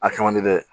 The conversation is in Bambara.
A kɛ man di dɛ